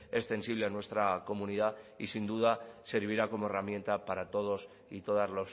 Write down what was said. extensible a nuestra comunidad y sin duda servirá como herramienta para todos y todas